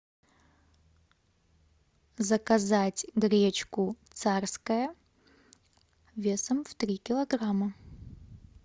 заказать гречку царская весом в три килограмма